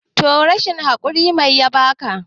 toh yanzu rashin hakuri mai yabaka?